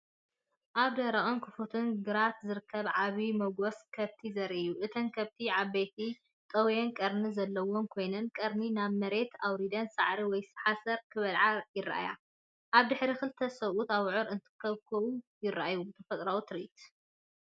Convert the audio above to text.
ኣብ ደረቕን ክፉትን ግራት ዝርከብ ዓቢ መጓሰ ከብቲ ዘርኢ እዩ። እተን ከብቲ ዓበይትን ጠውዮምን ቀርኒ ዘለወን ኮይነን፡ ቀርነን ናብ መሬት ኣውሪደን ሳዕሪ ወይ ሓሰር ክበልዓ ይረኣያ። ኣብ ድሕሪት ክልተ ሰብኡት ኣቡዑር እንትኹብኩቡ ይራኣዩ። ተፈጥሮኣዊ ትርኢት!